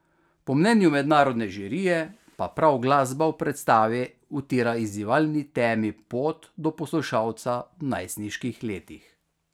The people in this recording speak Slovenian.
Po mnenju mednarodne žirije pa prav glasba v predstavi utira izzivalni temi pot do poslušalca v najstniških letih.